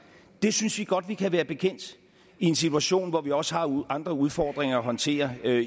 det synes vi godt vi kan være bekendt i en situation hvor vi også har andre udfordringer at håndtere